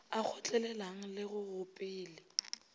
a kgotlelelang le go gopele